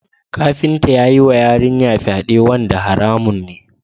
Kafinta ya yiwa yarinyar fyade wanda haramun ne.